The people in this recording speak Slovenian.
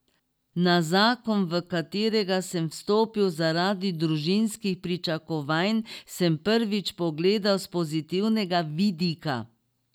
Na zakon, v katerega sem vstopil zaradi družinskih pričakovanj, sem prvič pogledal s pozitivnega vidika.